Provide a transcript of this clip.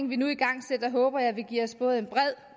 vi nu igangsætter håber jeg vil give os både en